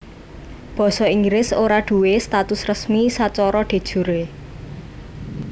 Basa Inggris ora duwé status resmi sacara de jure